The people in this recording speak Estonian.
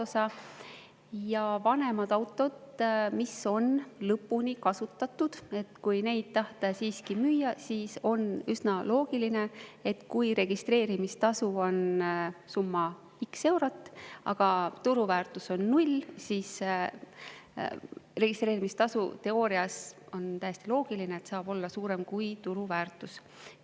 Kui tahta müüa vanemat autot, mis on lõpuni kasutatud, siis on üsna loogiline, et kui registreerimistasu on x eurot, aga turuväärtus on null, siis registreerimistasu – teoorias on see täiesti loogiline – saab olla suurem kui turuväärtus.